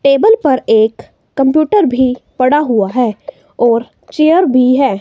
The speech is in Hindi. टेबल पर एक कंप्यूटर भी पडा हुआ है और चेयर भी है।